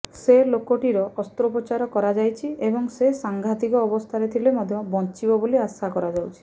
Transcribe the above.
ସେ ଲୋକଟିର ଅସ୍ତ୍ରୋପଚାର କରାଯାଇଛି ଏବଂ ସେ ସାଙ୍ଘାତିକ ଅବସ୍ଥାରେ ଥିଲେ ମଧ୍ୟ ବଞ୍ଚିବ ବୋଲି ଆଶା କରାଯାଉଛି